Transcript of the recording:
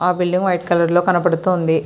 ఆ building white colour లో కన్నబడుతుంది.